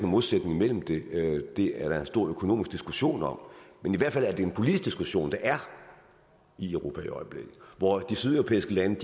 modsætning mellem det og det er der en stor økonomisk diskussion om men i hvert fald er det en politisk diskussion der er i europa i øjeblikket hvor de sydeuropæiske lande